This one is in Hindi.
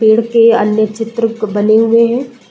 पेड़ के अन्य चित्रक बने हुए हैं।